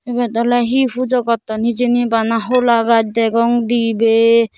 ibet ole he pujo gotton hijeni bana hola gaj degong dibey.